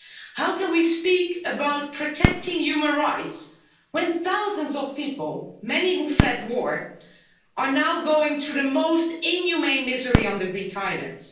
How can we speak about protecting human rights when thousands of people, many who fled war, are now going through the most inhumane misery on the Greek islands?